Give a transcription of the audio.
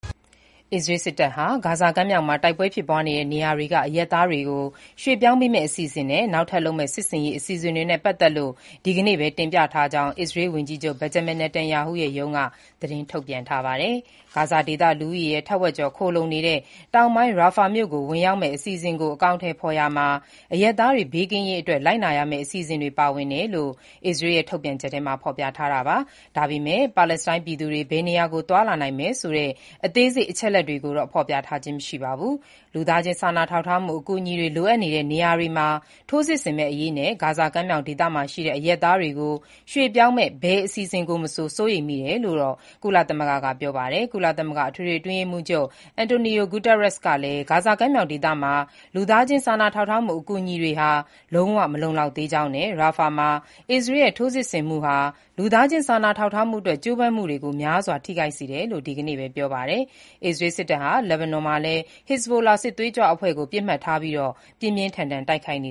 အစ္စရေးစစ်တပ်ကနေ ဂါဇာကမ်းမြှောင်မှာ တိုက်ပွဲဖြစ်ပွားနေတဲ့နေရာတွေက အရပ်သားတွေကို ရွှေ့ပြောင်းပေးမည့် အစီအစဉ်နဲ့ နောက်ထပ်လုပ်မည့် စစ်ဆင်ရေးအစီအစဉ်တွေနဲ့ ပတ်သက်လို့ ဒီကနေ့ပဲ တင်ပြထားကြောင်း အစ္စရေးဝန်ကြီးချုပ် Benjamin Netanyahu ရဲ့ရုံးက သတင်း ထုတ်ပြန်ထားပါတယ်။ ဂါဇာဒေသ လူဦးရေရဲ့ ထက်ဝက်ကျော် ခိုလှုံနေတဲ့ တောင်ပိုင်း Rafah (ရာဖာ) မြို့ ၀င်ရောက်မည့် အစီအစဉ်ကို အကောင်အထည်ဖော်ရာမှာ အရပ်သားတွေဘေးကင်းရေးအတွက် လိုက်နာရမည့် အစီအစဉ်တွေပါဝင်တယ်လို့ အစ္စရေးရဲ့ ထုတ်ပြန်ချက်မှာ ဖော်ပြထားပါတယ်။ ဒါပေမဲ့လို့ ပါလက်စတိုင်းပြည်သူတွေ ဘယ်နေရာကို သွားလာနိုင်မယ်ဆိုတဲ့ အသေးစိတ် အချက် အလက်တွေကို ဖော်ပြထားခြင်းမရှိပါဘူး။ လူသားချင်းစာနာထောက်ထားမှုအကူအညီတွေလိုအပ်နေတဲ့ နေရာတွေမှာ ထိုးစစ်ဆင်မဲ့အရေးနဲ့ ဂါဇာ ကမ်းမြောင်ဒေသရှိ အရပ်သားတွေကို ရွှေ့ပြောင်းမည့် ဘယ်အစီအစဉ်ကိုမဆို စိုးရိမ်ကြောင်း ကုလသမဂ္ဂက ပြောပါတယ်။ ကုလသမဂ္ဂ အထွေထွေအတွင်းရေးမှူးချုပ် Antonio Guterres ကလည်း ဂါဇာကမ်းမြောင်ဒေသမှာ လူသားချင်း စာနာထောက်ထားမှုအကူအညီတွေဟာ လုံးဝ မလုံလောက်သေးကြောင်းနဲ့ ရာဖာမှာ အစ္စရေးရဲ့ ထိုးစစ်ဆင်မှုဟာ လူသားချင်း စာနာထောက်ထားမှုအတွက် ကြိုးပမ်းမှုတွေကို များစွာထိခိုက်စေတယ်လို့ ဒီနေ့ပဲ ပြောပါတယ်။ အစ္စရေးစစ်တပ်ဟာ လက်ဘနွန်မှာလည်း ဟစ်ဇ်ဘိုလာ စစ်သွေးကြွအဖွဲ့ကို ပစ်မှတ်ထားပြီး ပြင်းပြင်းထန်ထန်တိုက်ခိုက်နေ